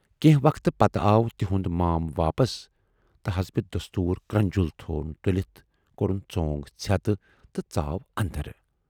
کینہہ وقتہٕ پَتہٕ آو تِہُند مام واپس تہٕ حسبِ دستوٗر کرنجُل تھود تُلِتھ کورُن ژۅنگ ژھٮ۪تہٕ تہٕ ژاو اَندر۔